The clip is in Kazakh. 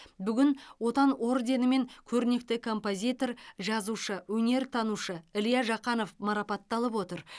бүгін отан орденімен көрнекті композитор жазушы өнертанушы илья жақанов марапатталып отыр